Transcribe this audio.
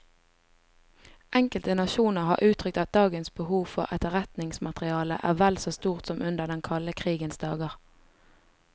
Enkelte nasjoner har uttrykt at dagens behov for etterretningsmateriale er vel så stort som under den kalde krigens dager.